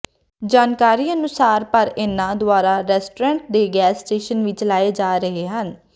ਜਾਣਕਾਰੀ ਅਨੁਸਾਰ ਪਰ ਇਹਨਾਂ ਦੁਆਰਾ ਰੈਸਟੋਰੈਂਟ ਤੇ ਗੈਸ ਸਟੇਸ਼ਨ ਵੀ ਚਲਾਏ ਜਾ ਰਹੇ ਹਨ